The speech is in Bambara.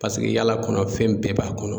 Paseke yala kɔnɔ fɛn bɛɛ b'a kɔnɔ